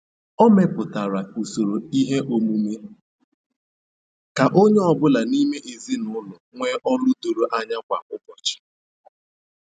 O mepụtara usoro ihe omume ka onye ọ bụla n'ime ezinụlọ nwee ọlụ doro anya kwa ụbọchị.